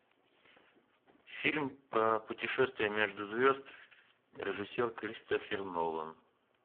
фильм про путешествия между звезд режиссер кристофер нолан